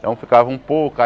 Então ficava um pouco.